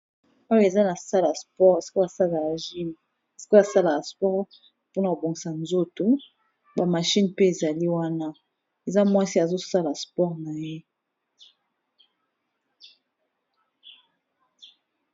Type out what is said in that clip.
Oyo eza na salle ya sport esika basalaka gym, esika basalaka sport mpona kobongisa nzoto. Ba machine pe ezali wana eza mwasi, azo sala sport na ye.